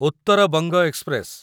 Uttar Banga express